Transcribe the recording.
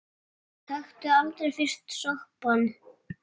Taktu aldrei fyrsta sopann!